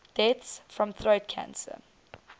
deaths from throat cancer